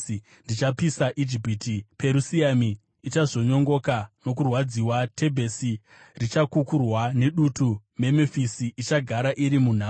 Ndichapisa Ijipiti; Perusiami ichazvonyongoka nokurwadziwa. Tebhesi richakukurwa nedutu; Memufisi ichagara iri munhamo.